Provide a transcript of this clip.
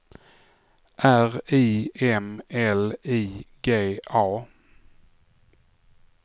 R I M L I G A